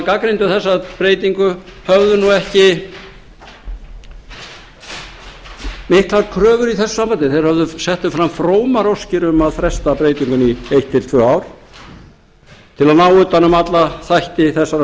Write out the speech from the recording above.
gagnrýndu þessa breytingu höfðu nú ekki miklar kröfur í þessu sambandi þeir settu fram frómar óskir um að fresta breytingunni í eitt til tvö ár til að ná utan um alla þætti þessarar